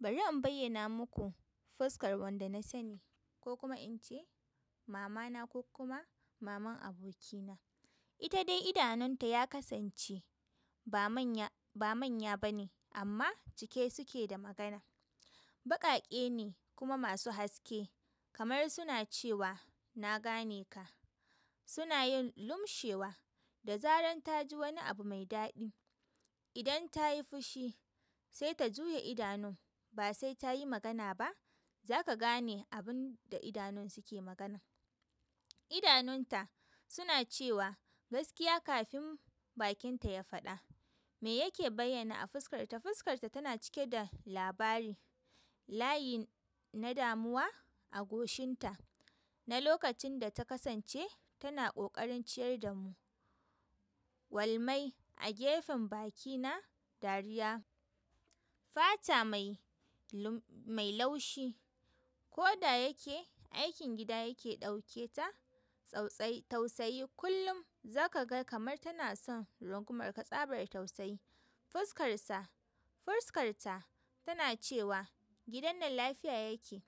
Bari in bayyana muku fuskar wanda na sani ko kuma in ce mama na ko kuma maman abokina. Ita dai idanunta ya kasance ba manya ba manya bane amma cike suke da magana. Baƙaƙe ne kuma masu haske kamar suna cewa na gane ka. Suna yin lumshewa da zaran ta ji wani abu mai daɗi. Idan tayi fushi sai ta juya idanun basai tayi magana ba zaka gane abunda idanun suke magana. Idanunta suna cewa gaskiya kafin bakinta ya faɗa. Me yake bayyana a fuskarta? Fuskarta tana cike da labari. Layin na damuwa a goshinta. Na lokacin da ta kasance tana ƙoƙarin ciyar da mu. Walmai a gefen bakina dariya. Fata mai mai laushi koda yake aikin gida yake ɗauke ta. Tsautsayi tausayi kullum za ka ga kamar tana son runkumar ka tsabar tausayi. Fuskarsa, fuskarta tana cewa gidan nan lafiya yake.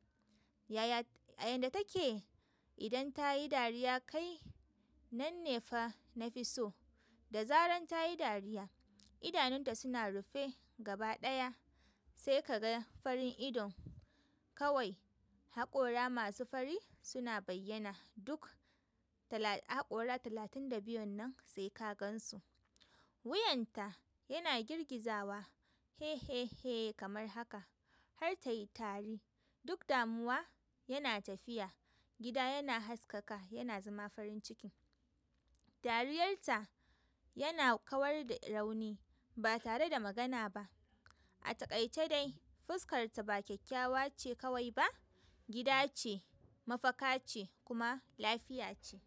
Yaya a yanda take idan ta yi dariya kai nan ne fa na fi so. Da zaran ta yi dariya idanunta suna rufe gaba ɗaya sai ka ga farin idon kawai haƙora masu fari suna bayyana duk haƙora talatin da biyun nan sai ka gan su. Wuyanta yana girgizawa he, he, he kamar haka har ta yi tari duk damuwa yana tafiya gida yana haskaka yana zama farin ciki. Dariyar ta yana kawar da rauni ba tare da magana ba. A taƙaice dai fuskarta ba kyakkyawa ce kawai ba gida ce, mafaka ce kuma lafiya ce.